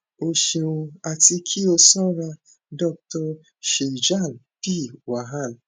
o ṣeun ati ki o sora dr shailja p wahal